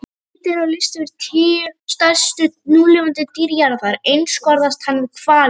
Þegar litið er á lista yfir tíu stærstu núlifandi dýr jarðar einskorðast hann við hvali.